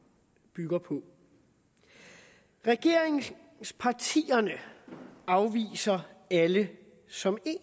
bygger på regeringspartierne afviser alle som en